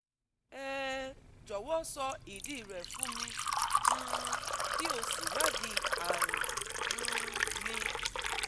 um Jọ̀wọ́ sọ ìdí rẹ̀ fún mi um kí o sì wádìí àrùn um mi